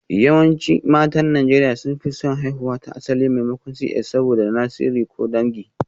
Yawancin matan Najeriya sun fi son haihuwa ta asali maimakon CS saboda na sirri ko na dangi